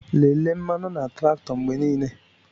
Lelee mmanụ na traktọ mgbe niile.